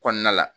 Kɔnɔna la